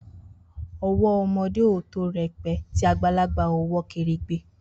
Owo omo de o to rẹpẹ, ti agbalaba owọ keregbe.